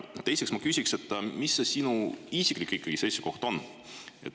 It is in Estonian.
Teiseks küsin, mis sinu isiklik seisukoht siis on.